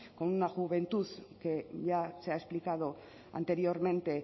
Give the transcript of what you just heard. con una juventud que ya se ha explicado anteriormente